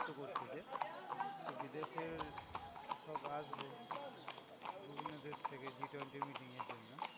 করছে যে বিদেশের সব আসবে বিভিন্ন দেশ থেকে G twenty র meeting এর জন্য।